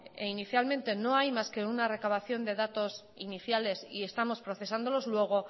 inicialmente no hay más que una recabación de datos iniciales y estamos procesándolos luego